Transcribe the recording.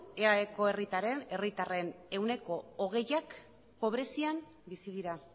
eaeko herritarren ehuneko hogeiak pobrezian bizi dira